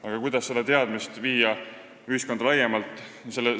Aga kuidas viia seda teadmist ühiskonda laiemalt?